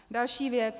Další věc.